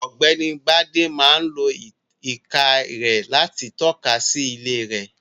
Ọ̀gbẹ́ni Bádé máa lo ìka rẹ̀ láti tọ́ka sí ilé rẹ̀.